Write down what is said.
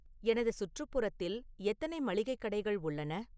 எனது சுற்றுப்புறத்தில் எத்தனை மளிகைக் கடைகள் உள்ளன